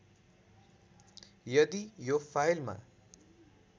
यदि यो फाइलमा